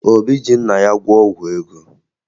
Obi ji nna ya gwọọ ọgwụ ego